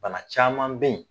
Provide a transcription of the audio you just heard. Bana caman bɛ ye.